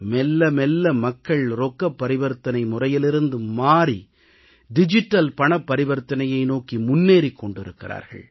மெல்ல மெல்ல மக்கள் ரொக்கப் பரிவர்த்தனை முறையிலிருந்து மாறி டிஜிட்டல் பணப்பரிவர்த்தனையை நோக்கி முன்னேறிக் கொண்டிருக்கிறார்கள்